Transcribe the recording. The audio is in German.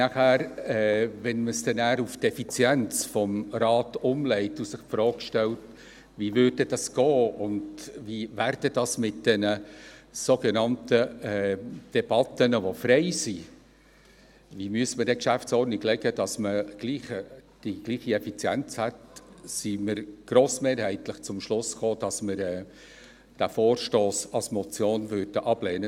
Wenn man es dann auf die Effizienz des Rates umlegt und sich die Frage stellt, wie es ablaufen sollte, wie es sich mit den sogenannten Debatten, die frei sind, verhielte, und wie man die GO gestalten müsste, damit man die gleiche Effizienz hätte, kommen wir grossmehrheitlich zum Schluss, dass wir diesen Vorstoss als Motion ablehnen.